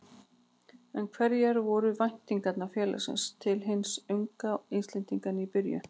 En hverjar voru væntingar félagsins til hins unga Íslendings í byrjun?